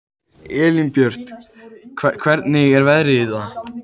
Elínbjört, hvernig er veðrið í dag?